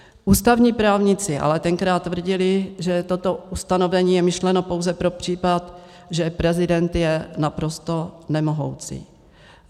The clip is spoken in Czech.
Ústavní právníci ale tenkrát tvrdili, že toto ustanovení je myšleno pouze pro případ, že prezident je naprosto nemohoucí.